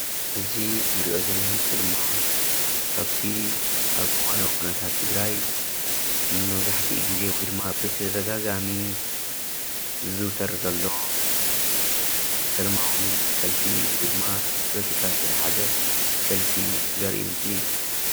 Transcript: እዚ እንሪኦ ዘለና ምስሊ ድማ ካብቲ ኣብ እዋናዊ ኩነታት ትግራይ ንመብዛሕትኡ ጊዜ ወይ ድማ ብተደጋጋሚ ዝዝውተር ዘሎ ሰለማዊ ሰልፊ ወይ ድማ ምስ ፖለቲካ ዝተታሓሓዘ ሰልፊ ዘርኢ ምስሊ እዩ፡፡